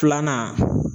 Filanan